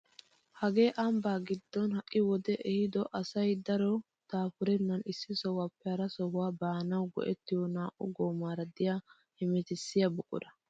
hagee ambbaa giddon ha'i wodee eehido asay daro daapurenen issi sohuwaappe hara sohuwaa baanawu go"ettiyoo naa"u goomara de'iyaa hemettisiyaa buqura!